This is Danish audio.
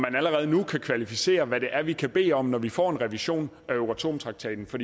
allerede nu kan kvalificere hvad det er vi kan bede om når vi får en revision af euratom traktaten for